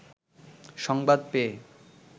সংবাদ পেয়ে